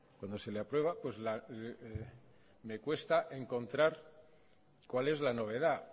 cuando se le aprueba me cuesta encontrar cuál es la novedad